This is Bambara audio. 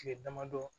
Tile damadɔ